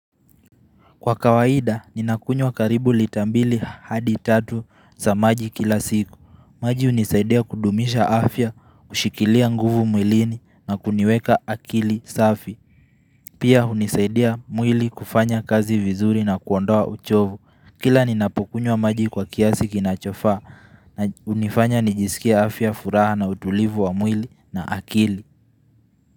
Kwa kawaida, ninakunywa karibu lita mbili hadi tatu za maji kila siku. Maji hunisaidia kudumisha afya, kushikilia nguvu mwilini na kuniweka akili safi. Pia hunisaidia mwili kufanya kazi vizuri na kuondoa uchovu. Kila ninapokunywa maji kwa kiasi kinachofa na hunifanya nijisikie afya furaha na utulivu wa mwili na akili.